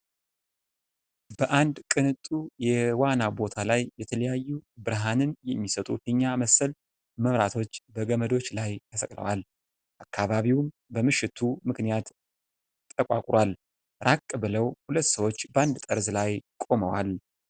በአንድ ቅንጡ የዋና ቦታ ላይ የተለያዩ ብርሃንን የሚሰጡ ፊኛ መሰል መብራቶች በገመዶች ላይ ተሰቅለዋል። አካባቢውም በመምሸቱ ምክንያት ጠቋቁራል። ራቅ ብለው ሁለት ሰዎች በአንድ ጠርዝ ላይ ቆመዋል።